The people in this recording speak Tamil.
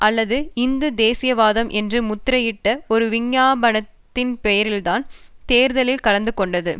அல்லது இந்து தேசியவாதம் என்று முத்திரையிட்ட ஒரு விஞ்ஞாபனத்தின்பேரில்தான் தேர்தலில் கலந்து கொண்டது